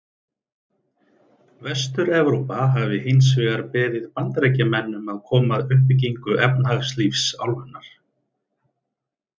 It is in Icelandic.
Vestur-Evrópa hafi hins vegar beðið Bandaríkjamenn um að koma að uppbyggingu efnahagslífs álfunnar.